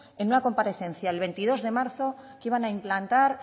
en una comparecencia el veintidós de marzo que iban a implantar